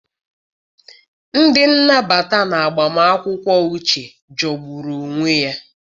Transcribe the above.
Ndị nnabata na agbamakwụkwọ Uche jọgburu onwe ya.